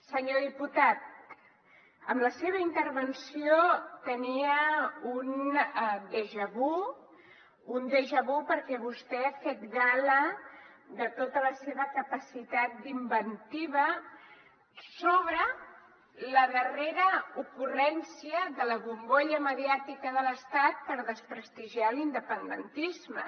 senyor diputat amb la seva intervenció tenia un déjà vu un déjà vu perquè vostè ha fet gala de tota la seva capacitat d’inventiva sobre la darrera ocurrència de la bombolla mediàtica de l’estat per desprestigiar l’independentisme